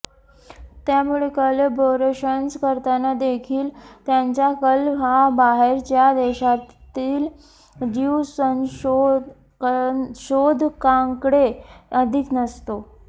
त्यामुळे कोलॅबोरेशन्स करताना देखील त्यांचा कल हा बाहेरच्या देशातील ज्यु संशोधकांकडे अधिक असतो